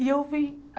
E eu vim.